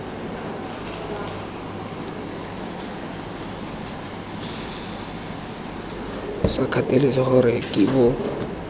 sa kgathalesege gore ke bo